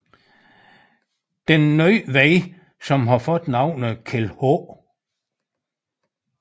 Den nye vej som har fået navnet Kjeld H